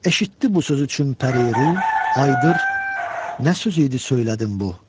Eşitdi bu sözü çün pəriru, ayıdır nə söz idi söylədin bu?